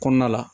Kɔnɔna la